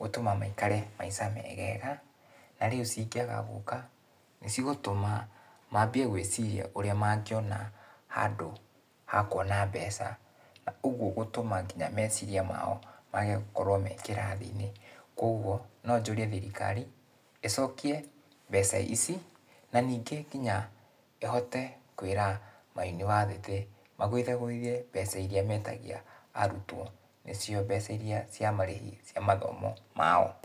gũtũma maikare maica megega, na rĩu cingĩaga gũka, nĩcigũtũma mambie gwiciria ũrĩa mangĩona handũ ha kuona mbeca. Ũguo gũtũma kinya meciria mao, mage gũkorwo me kĩrathi-inĩ. Kuoguo, no njũrie thirikari, ĩcokie mbeca ici, na ningĩ kinya ĩhote kwĩra mayunibasĩtĩ magũithagũithie mbeca iria metagia arutwo, nĩcio mbeca iria cia marĩhi cia mathomo mao.